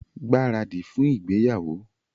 Gbáradì fún ìgbéyàwó!